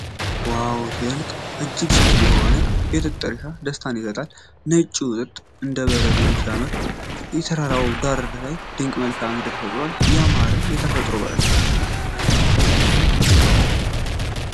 ዋው ሲያስደንቅ! እጅግ ሰፊ የሆነ የጥጥ እርሻ ደስታን ይሰጣል። ነጩ ጥጥ እንደበረዶ ሲያምር፣ የተራራው ዳራ ድንቅ መልክዓ ምድርን ፈጥሯል። ያማረ የተፈጥሮ በረከት!